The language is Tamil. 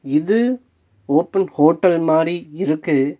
இது ஓபன் ஹோட்டல் மாரி இருக்கு.